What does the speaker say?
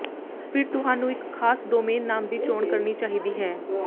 ਫਿਰ ਤੁਹਾਨੂੰ ਇੱਕ ਖਾਸ ਡੋਮੇਨ ਨਾਮ ਦੀ ਚੋਣ ਕਰਨੀ ਚਾਹੀਦੀ ਹੈ